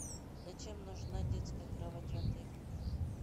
зачем нужна детская кровать в отеле